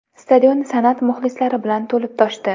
Stadion san’at muxlislari bilan to‘lib toshdi.